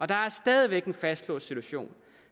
der er stadig væk en fastlåst situation